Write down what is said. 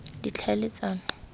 ditlhaeletsano